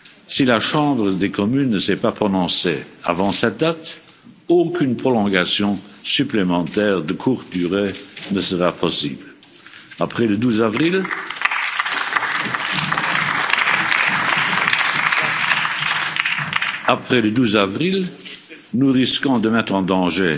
Si la Chambre des communes ne s'est pas prononcée avant cette date, aucune prolongation supplémentaire de courte durée ne sera possible. Après le 12 avril, nous risquons de mettre en danger